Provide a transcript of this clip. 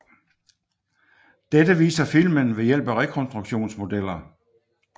Dette viser filmen ved hjælp af rekonstruktionsmodeller